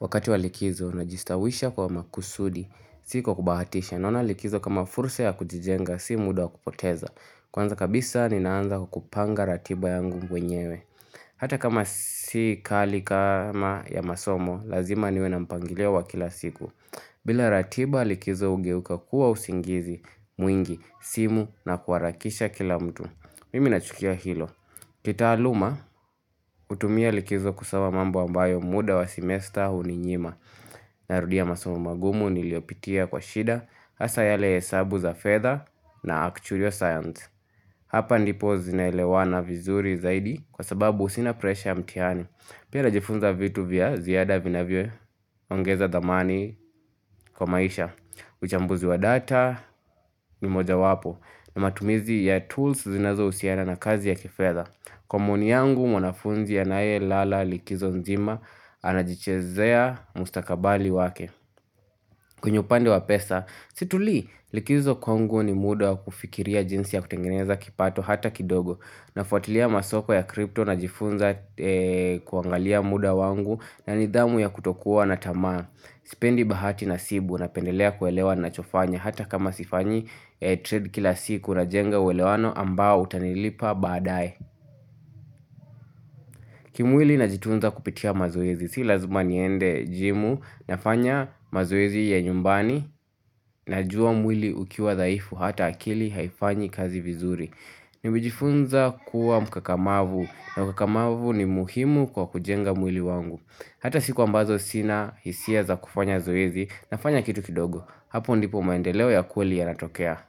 Wakati wa likizo, najistawisha kwa makusudi, si kwa kubahatisha, naona likizo kama fursa ya kujijenga, si muda wa kupoteza. Kwanza kabisa ni naanza kwa kupanga ratiba yangu mwenyewe. Hata kama si kali kama ya masomo, lazima niwe na mpangilio wa kila siku. Bila ratiba likizo ugeuka kuwa usingizi, mwingi, simu na kuwarakisha kila mtu. Mimi nachukia hilo. Kitaaluma, hutumia likizo kusawa mambo ambayo muda wa semester huninyima. Na rudia masomo magumu niliopitia kwa shida hasa yale ya hesabu za fedha na actual science Hapa ndipo zinaelewana vizuri zaidi kwa sababu sina presha ya mtiani Pia najifunza vitu vya ziyada vinavyoongeza thamani kwa maisha uchambuzi wa data ni mojawapo na matumizi ya tools zinazo usiana na kazi ya kifedha Kwa maoni yangu mwanafunzi anaelala likizo nzima anajichezea mustakabali wake kwenye upande wa pesa, situli likizo kwangu ni muda kufikiria jinsi ya kutengeneza kipato hata kidogo, nafuatilia masoko ya kripto najifunza kuangalia muda wangu na nidhamu ya kutokuwa na tamaa, sipendi bahati nasibu napendelea kuelewa nachofanya hata kama sifanyi trade kila siku najenga uwelewano ambao utanilipa baadae. Kimwili najitunza kupitia mazoezi, si lazuma niende jimu, nafanya mazoezi ya nyumbani, najua mwili ukiwa dhaifu, hata akili haifanyi kazi vizuri Nimejifunza kuwa mkakamavu, na mkakamavu ni muhimu kwa kujenga mwili wangu Hata siku ambazo sina hisia za kufanya zoezi, nafanya kitu kidogo, hapo ndipo maendeleo ya kweli yanatokea